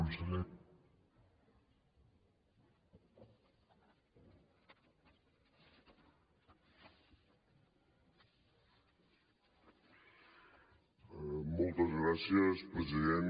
moltes gràcies president